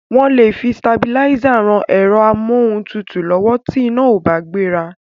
Wọ́n lè fi sitabilísà ran ẹ̀rọ amóhuntutù lọ́wọ́ tí iná ò bá gbéra.